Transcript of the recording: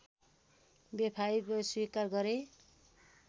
बेवफाइ स्वीकार गरे